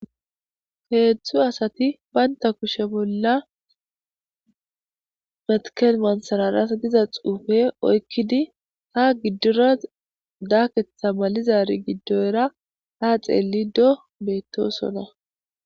heedzdzu asati baynta kushe bolla metikel mansararas diza xuufe oykkidi ha giddora daaketha malizari giddoyra ha xeelli do beettosona